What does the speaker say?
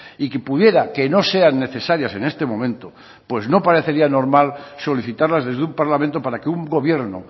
y que pudiera que no sean necesarias en este momento pues no parecería normal solicitarlas desde un parlamento para que un gobierno